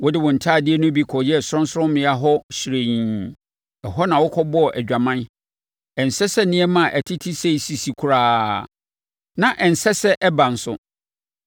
Wode wo ntadeɛ no bi kɔyɛɛ sorɔnsorɔmmea hɔ hyirenn, ɛhɔ na wokɔbɔɔ adwaman. Ɛnsɛ sɛ nneɛma a ɛtete sei sisi koraa, na ɛnsɛ sɛ ɛba nso.